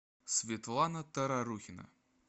светлана тарарухина